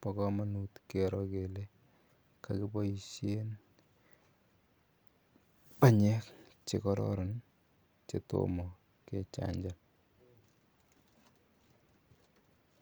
bokomonut kero kelee kokiboishen banyek chekororon chetomo kechanjan.